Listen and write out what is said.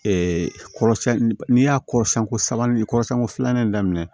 kɔrɔsiyɛnni n'i y'a kɔrɔsɛn ko sabanan kɔrɔsɛn ko filanan daminɛ